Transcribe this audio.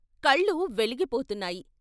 కళ్ళు వెలిగిపోతున్నాయి.